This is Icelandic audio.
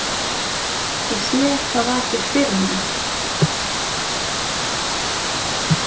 Ég sé hvað vakir fyrir honum.